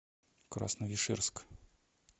красновишерск